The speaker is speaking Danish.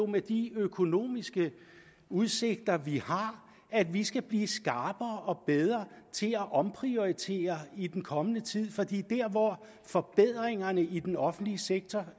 med de økonomiske udsigter vi har at vi skal blive skarpere og bedre til at omprioritere i den kommende tid for forbedringerne i den offentlige sektor